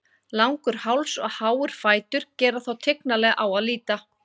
Langur háls og háir fætur gera þá tignarlega á að líta.